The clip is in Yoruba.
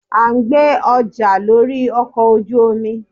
a n gbé ọja lorí ọkọ ojú omí